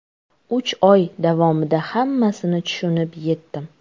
Uch oy davomida hammasini tushunib etdim.